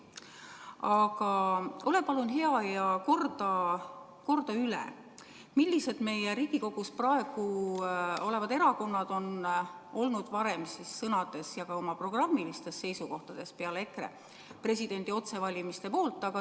Aga ole palun hea ja korda üle, millised teised praegu Riigikogus olevad erakonnad on varem sõnades ja ka oma programmides olnud presidendi otsevalimise poolt!